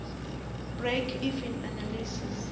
break even analysis